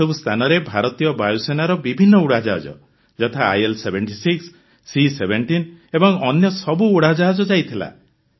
ଏହି ସବୁ ସ୍ଥାନରେ ଭାରତୀୟ ବାୟୁସେନାର ବିଭିନ୍ନ ଉଡ଼ାଜାହାଜ ଯଥା ଆଇଏଲ୍76 ସି17 ଏବଂ ଅନ୍ୟ ସବୁ ଉଡ଼ାଜାହାଜ ଯାଇଥିଲା